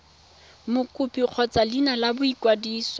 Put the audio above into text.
mokopi kgotsa leina la boikwadiso